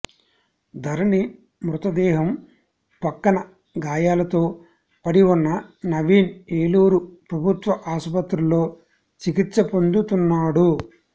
ధరణి మృతదేహం పక్కన గాయాలతో పడిఉన్న నవీన్ ఏలూరు ప్రభుత్వ ఆసుపత్రిలో చికిత్స పొందుతున్నాడు